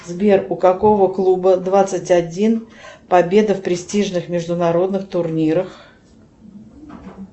сбер у какого клуба двадцать один победа в престижных международных турнирах